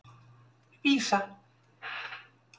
Vísa